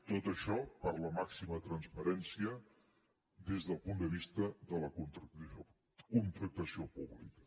tot això per a la màxima transparència des del punt de vista de la contractació pública